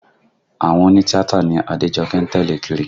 Àwọn òní tíátà ni Adéjọkẹ́ ń tẹ̀lé kiri